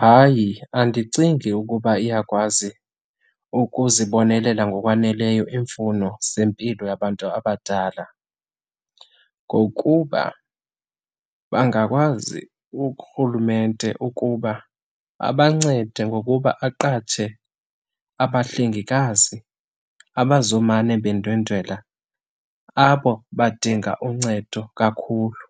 Hayi, andicingi ukuba iyakwazi ukuzibonelela ngokwaneleyo iimfuno zempilo yabantu abadala ngokuba bangakwazi urhulumente ukuba abancede ngokuba aqatshe abahlengikazi abazawumane bendwendwela abo badinga uncedo kakhulu